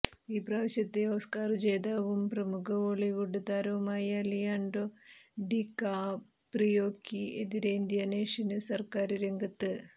ഈ പ്രാവശ്യത്തെ ഓസ്കാര് ജേതാവും പ്രമുഖ ഹോളീവുഡ് താരവുമായ ലിയാന്ഡോ ഡികാപ്രിയോയ്ക്ക് എതിരെ ഇന്തോനേഷ്യന് സര്ക്കാര് രംഗത്ത്